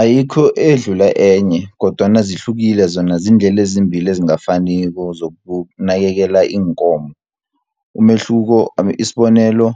Ayikho edlula enye, kodwana zihlukile zona, ziindlela ezimbili ezingafaniko, zokunakekela iinkomo. Isibonelo